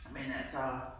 Men altså